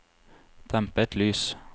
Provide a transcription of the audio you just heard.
dempet lys